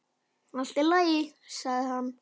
Allt í lagi, sagði hann.